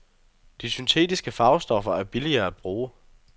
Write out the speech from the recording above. De syntetiske farvestoffer er billigere at bruge.